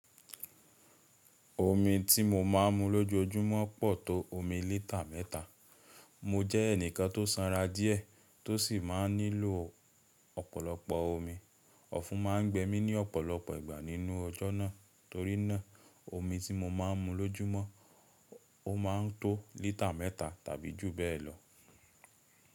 Omi tí mo má ń mu lójojúmọ́ pọ̀ tó omi lítà mẹ́ta. Mo jẹ́ ẹnìkan tó sanra díẹ̀ tó sì má ń nílò ọ̀pọ̀lọpọ̀ omi. Ọ̀fun má ń gbẹ mí ní ọ̀pọ̀lọpọ̀ ìgbà nínú ọjọ́ náà torínà omi tí mo má ń mu lójúmọ́ ó má ń tó lítà mẹ́ta tàbí jù bẹ́ẹ̀ lọ.